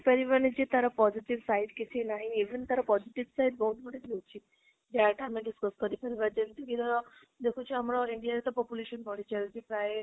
ପାରିବନି ଯେ ତାର positive side କିଛି ନାହିଁ even ତାର positive side ବହୁତ ଗୁଡ଼େ ରହୁଛି ଯାହାଟା ଆମେ discuss କରି ପାରିବା ଯେମିତି ନିଜର ଦେଖୁଛେ ଆମର ଇଣ୍ଡିଆର ତ population ବଢି ଚାଲିଛି ପ୍ରାଯ